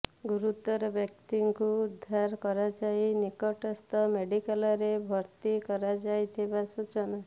ଗୁରୁତର ବ୍ୟକ୍ତିଙ୍କୁ ଉଦ୍ଧାର କରାଯାଇ ନିକଟସ୍ଥ ମେଡିକାଲରେ ଭର୍ତ୍ତି କରାଯାଇଥିବା ସୂଚନା